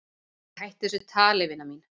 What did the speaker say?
"""Æ, hættu þessu tali, vina mín."""